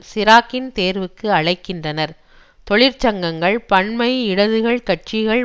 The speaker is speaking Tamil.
சிராக்கின் தேர்வுக்கு அழைக்கின்றனர் தொழிற்சங்கங்கள் பன்மை இடதுகள் கட்சிகள்